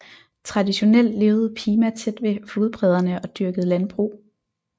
Traditionelt levede Pima tæt ved flodbredderne og dyrkede landbrug